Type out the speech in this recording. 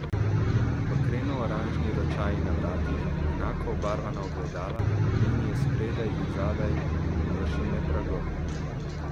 Bakreno oranžni ročaji na vratih, enako obarvana ogledala, linije spredaj in zadaj, površine pragov ...